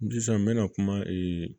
Sisan n bɛna kuma